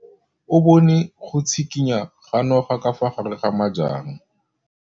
O bone go tshikinya ga noga ka fa gare ga majang.